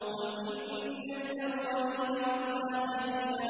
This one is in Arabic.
قُلْ إِنَّ الْأَوَّلِينَ وَالْآخِرِينَ